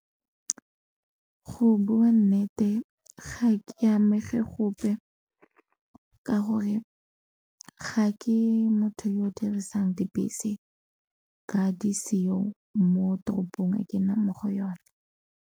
Go bua nnete ga ke amege gope ka gore ga ke motho yo o dirisang dibese ka di seo mo toropong e ke nnang mo go yone.